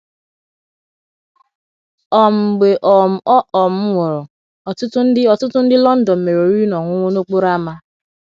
um Mgbe um ọ um nwụrụ, ọtụtụ ndị, ọtụtụ ndị London mere oriri na ọṅụṅụ n’okporo ámá.